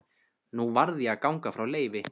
Nú varð ég að ganga frá Leifi.